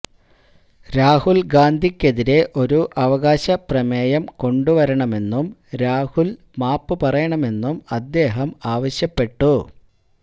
രാഹുൽ ഗാന്ധിക്കെതിരെ ഒരു അവകാശപ്രമേയം കൊണ്ടുവരണമെന്നും രാഹുൽ മാപ്പ് പറയണമെന്നും അദ്ദേഹം ആവശ്യപ്പെട്ടു